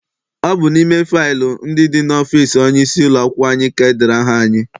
Ọ bụ n'ime faịlu ndị dị n'ọfịịsi onye isi ụlọakwụkwọ anyị ka edere aha anyị.